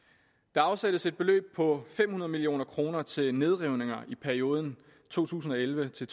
der afsættes et beløb på fem hundrede million kroner til nedrivninger i perioden to tusind og elleve til